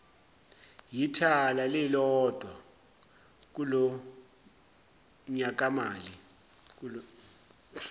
yithala lilodwa kulonyakamali